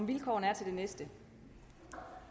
når